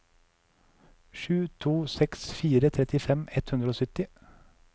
sju to seks fire trettifem ett hundre og sytti